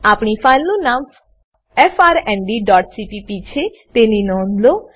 આપણી ફાઈલનું નામ frndસીપીપી છે તેની નોંધ લો